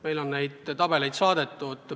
Meile on sellekohaseid tabeleid saadetud.